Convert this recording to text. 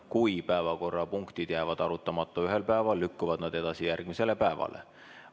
Kui päevakorrapunktid jäävad arutamata ühel päeval, lükkuvad nad edasi järgmisele päevale.